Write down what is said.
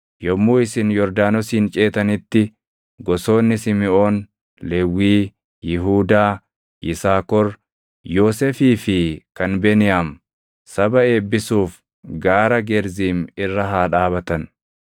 Yommuu isin Yordaanosin ceetanitti gosoonni Simiʼoon, Lewwii, Yihuudaa, Yisaakor, Yoosefii fi kan Beniyaam saba eebbisuuf gaara Gerziim irra haa dhaabatan.